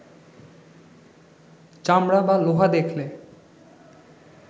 চামড়া বা লোহা দেখলে